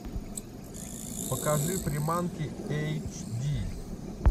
покажи приманки эйч ди